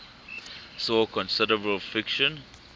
saw considerable friction